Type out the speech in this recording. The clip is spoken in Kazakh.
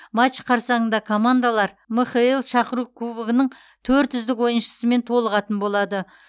матч қарсаңында командалар мхл шақыру кубогының төрт үздік ойыншысымен толығатын болады